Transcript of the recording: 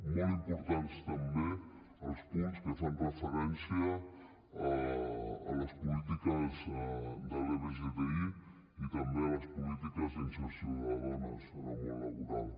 molt importants també els punts que fan referència a les polítiques d’lbgti i també a les polítiques d’inserció de dones en el món laboral